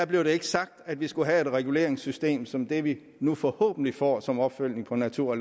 blev sagt at vi skulle have et reguleringssystem som det vi nu forhåbentlig får som opfølgning på natur og